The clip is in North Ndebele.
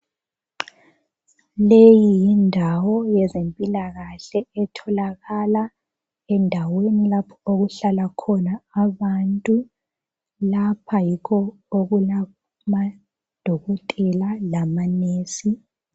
Leyi yindawo yezempilakahle etholakala endaweni lapho okuhlala khona abantu. Lapha yikho okulamadokotela lamanesi.